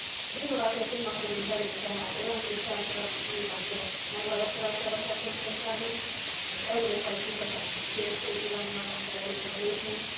Az innováció témakörén belül tehát a jelentős társadalmi kihívások megválaszolására kell koncentrálnunk, az európai kutatási térség irányában kell előrébb lépnünk.